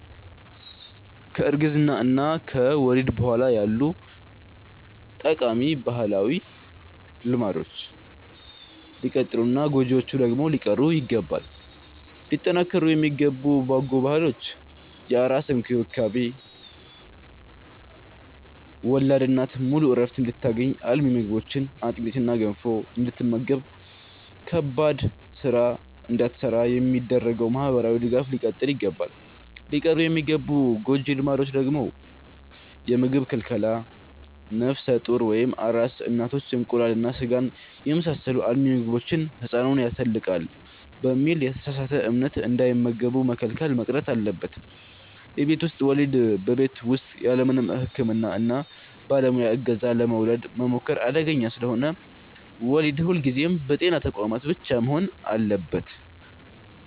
ከእርግዝና እና ወሊድ በኋላ ያሉ ጠቃሚ ባህላዊ ልማዶች ሊቀጥሉና ጎጂዎቹ ደግሞ ሊቀሩ ይገባል። ሊጠናከሩ የሚገቡ በጎ ባህሎች፦ የአራስ እንክብካቤ፦ ወላድ እናት ሙሉ ዕረፍት እንድታገኝ፣ አልሚ ምግቦችን (አጥሚትና ገንፎ) እንድትመገብና ከባድ ሥራ እንዳትሠራ የሚደረገው ማኅበራዊ ድጋፍ ሊቀጥል ይገባል። ሊቀሩ የሚገቡ ጎጂ ልማዶች፦ የምግብ ክልከላ፦ ነፍሰ ጡር ወይም አራስ እናቶች እንቁላልና ሥጋን የመሳሰሉ አልሚ ምግቦችን «ሕፃኑን ያተልቃል» በሚል የተሳሳተ እምነት እንዳይመገቡ መከልከል መቅረት አለበት። የቤት ውስጥ ወሊድ፦ በቤት ውስጥ ያለምንም የሕክምና ባለሙያ ዕገዛ ለመውለድ መሞከር አደገኛ ስለሆነ፣ ወሊድ ሁልጊዜም በጤና ተቋማት ብቻ መሆን አለበት።